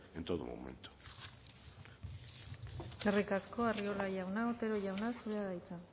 en todo momento eskerrik asko arriola jauna otero jauna zurea da hitza